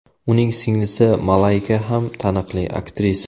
Uning singlisi Malayka ham taniqli aktrisa.